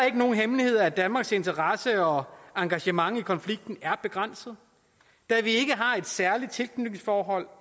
ikke nogen hemmelighed at danmarks interesse og engagement i konflikten er begrænset da vi ikke har et særligt tilknytningsforhold